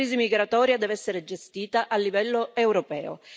La crisi migratoria deve essere gestita a livello europeo.